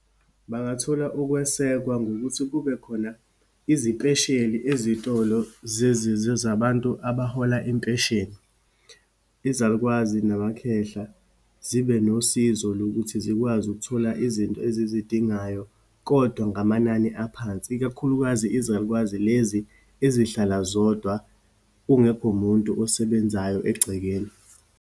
Bangathola ukwesekwa ngokuthi kube khona izipesheli ezitolo zabantu abahola impesheni. Izalukwazi namakhehla, zibe nosizo lokuthi zikwazi ukuthola izinto ezizidingayo, kodwa ngamanani aphansi, ikakhulukazi izalukwazi lezi ezihlala zodwa, kungekho muntu osebenzayo egcekeni.